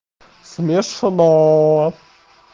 смешно